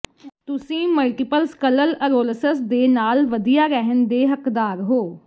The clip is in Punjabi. ਤੁਸੀਂ ਮਲਟੀਪਲ ਸਕਲਲਅਰੋਲਸਸ ਦੇ ਨਾਲ ਵਧੀਆ ਰਹਿਣ ਦੇ ਹੱਕਦਾਰ ਹੋ